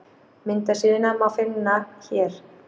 Myndasíðuna má finna á hér